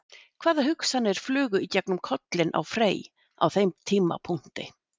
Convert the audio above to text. Hvaða hugsanir flugu í gegnum kollinn á Frey á þeim tímapunkti?